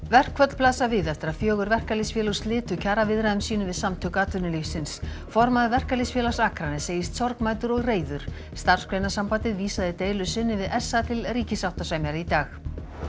verkföll blasa við eftir að fjögur verkalýðsfélög slitu kjaraviðræðum sínum við Samtök atvinnulífsins formaður Verkalýðsfélags Akraness segist sorgmæddur og reiður Starfsgreinasambandið vísaði deilu sinni við s a til ríkissáttasemjara í dag